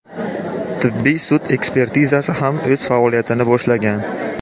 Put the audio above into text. Tibbiy sud ekspertizasi ham o‘z faoliyatini boshlagan.